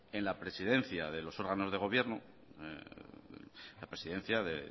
en la presidencia de los órganos de gobierno en la presidencia de